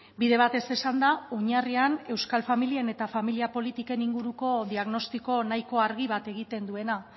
bide batez esanda oinarrian euskal familien eta familia politiken inguruko diagnostiko nahiko argi bat egiten duena